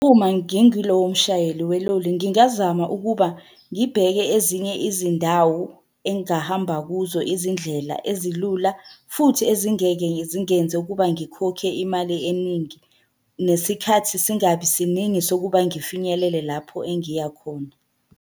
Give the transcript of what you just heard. Uma ngingulowo mshayeli weloli ngingazama ukuba ngibheke ezinye izindawo engahamba kuzo izindlela ezilula, futhi ezingeke zingenze ukuba ngikhokhe imali eningi. Nesikhathi singabi siningi sokuba ngifinyelele lapho engiya khona.